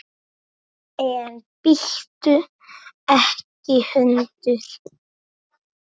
En bíttu ekki hundur!